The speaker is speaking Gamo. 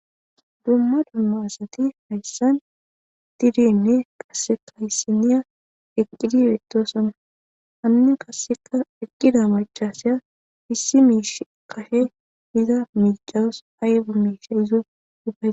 Dumma dummaasati hayssan dtidinne qasseka hissiniya eqqidiretosonna hanne kasseka eqqida machaseya fissi miish kashe iza micawos aybu miisha izo dupae.